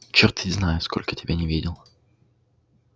чёрт ведь знает сколько тебя не видел